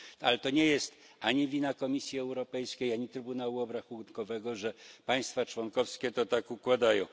Ale to nie jest ani wina Komisji Europejskiej, ani Trybunału Obrachunkowego, że państwa członkowskie to tak układają.